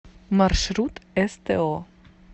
маршрут сто